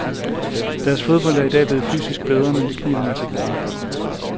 Deres fodbold er i dag blevet fysisk bedre, men det kniber med teknikken.